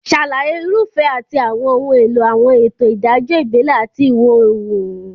Ṣàlàyé irúfẹ́ àti àwọn ohun èlò àwọn ètò ìdájọ́ ìbílẹ̀ àti ìwọ̀-oòrùn.